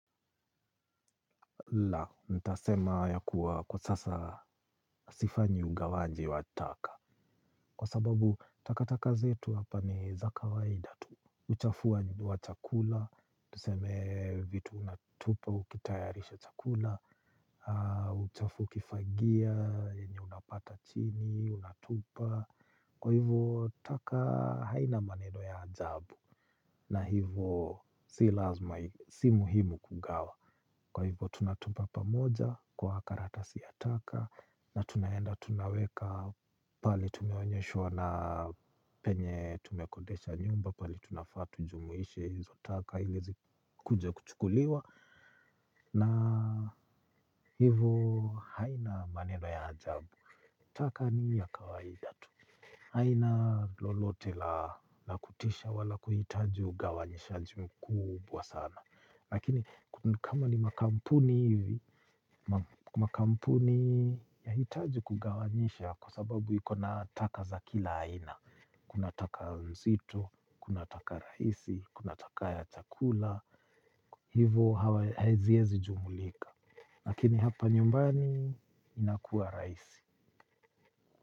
La, nitasema ya kuwa kwa sasa sifanyi ugawaji wa taka kwa sababu takataka zetu hapa ni za kawaida tu uchafu wa chakula, tuseme vitu unatupa ukitayarisha chakula. Uchafu ukifagia yenye unapata chini unatupa kwa hivyo taka haina maneno ya ajabu. Na hivyo si muhimu kugawa kwa hivyo tunatupa pamoja kwa karatasi ya taka na tunaenda tunaweka pahali tumeonyeshwa na penye tumekodisha nyumba pahali tunafaa tujumuishe hizo taka ili zikuje kuchukuliwa na hivyo haina maneno ya ajabu. Taka ni hii ya kawaida tu. Haina lolote la kutisha wala kuhitaji ugawanyishaji mkubwa sana. Lakini kama ni makampuni hivi, makampuni yahitaji kugawanyisha kwa sababu iko na taka za kila aina. Kuna taka nzito, kuna taka rahisi, kuna taka ya chakula, hivyo haziwezi jumulika. Lakini hapa nyumbani inakuwa rahisi.